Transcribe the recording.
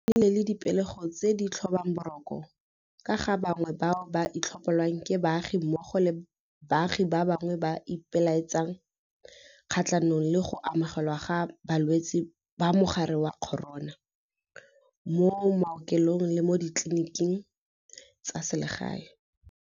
Go nnile le dipegelo tse di tlhobang boroko ka ga bangwe bao ba tlhopololwang ke baagi mmogo le baagi ba bangwe ba ipelaetsa kgatlhanong le go amogelwa ga balwetse ba mogare wa corona mo maokelong le mo ditleliniking tsa selegae.